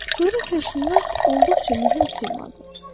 Coğrafiyaşünas olduqca mühüm saymandır.